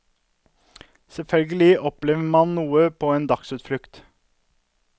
Selvfølgelig opplever man noe på en dagsutflukt.